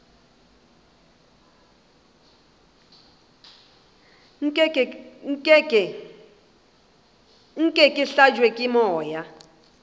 nke ke hlabje ke moya